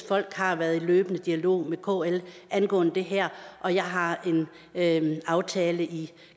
folk har været i løbende dialog med kl angående det her og jeg har en aftale i